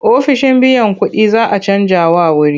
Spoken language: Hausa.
Ofishin biyan kuɗin za a canjawa wuri.